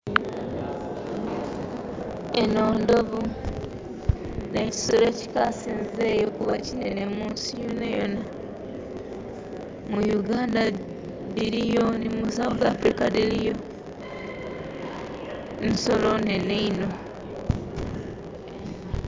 Enho ndhovu, nhekisolo ekikasinzeeyo kuba kinhenhe mu nsi yonayona. Mu Yuganda dhiriyo, nhi mu Sawusi afirika dhiriyo, nsolo nhenhe inho.